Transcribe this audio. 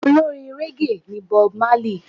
Olórin régè ni Bob Marley.